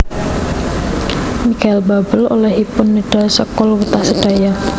Michael Buble olehipun nedha sekul wutah sedaya